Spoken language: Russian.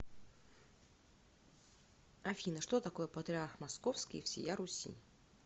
афина что такое патриарх московский и всея руси